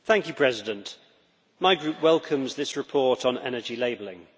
Mr President, my group welcomes this report on energy labelling.